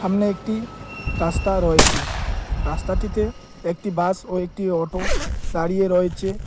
সামনে একটি রাস্তা রয়েছে। রাস্তাটিতে একটি বাস ও একটি অটো দাঁড়িয়ে রয়েছে।